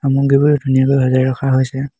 বোৰ ধুনীয়াকৈ সজাই ৰখা হৈছে।